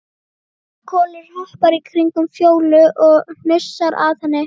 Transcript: Kolur hoppar í kringum Fjólu og hnusar að henni.